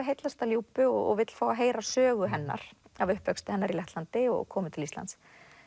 heillast af Ljúbu og vill fá að heyra sögu hennar af uppvexti hennar í Lettlandi og komu til Íslands